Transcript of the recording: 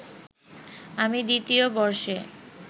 আমি দ্বিতীয় বর্ষে